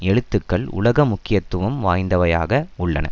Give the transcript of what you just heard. எழுத்துக்கள் உலக முக்கியத்துவம் வாய்ந்தவையாக உள்ளன